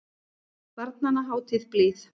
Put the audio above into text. Barnanna hátíð blíð.